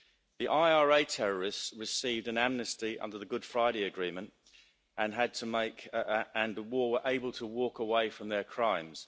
The IRA terrorists received an amnesty under the Good Friday Agreement and were able to walk away from their crimes.